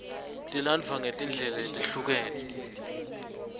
tilandvwa ngetindlela letehlukene